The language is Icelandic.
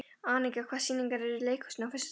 Anika, hvaða sýningar eru í leikhúsinu á föstudaginn?